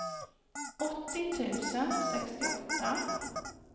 åttio tusen sextioåtta